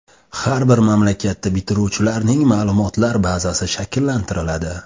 Har bir maktabda bitiruvchilarning ma’lumotlar bazasi shakllantiriladi.